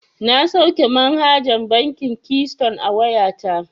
Na sauke manhajar bankin kiston a wayata.